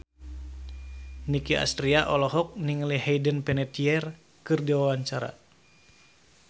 Nicky Astria olohok ningali Hayden Panettiere keur diwawancara